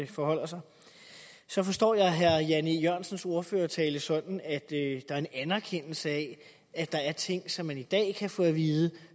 forholder sig så forstår jeg herre jan e jørgensens ordførertale sådan at der er en anerkendelse af at der er ting som man i dag kan få at vide